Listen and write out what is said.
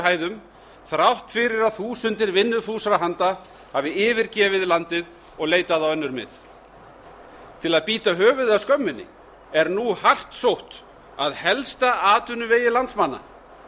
hæðum þrátt fyrir að þúsundir vinnufúsra handa hafi yfirgefið landið og leitað á önnur mið til að bíta höfuðið af skömminni er nú hart sótt að helsta atvinnuvegi landsmanna